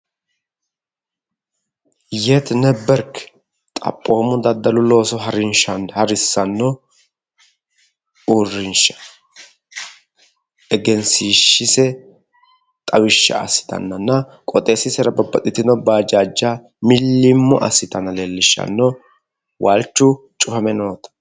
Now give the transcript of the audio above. Yeti neberki xaphoomu daddalu harinsha harissano uurinsha egenshishise xawisha assittanonna qoxxeesisera babbaxitino bajaaja uuritenna mili'mo assitanni nootta leellishano, walichu cufame no